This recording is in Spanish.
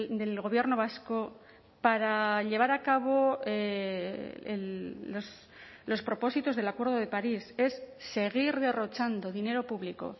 del gobierno vasco para llevar a cabo los propósitos del acuerdo de parís es seguir derrochando dinero público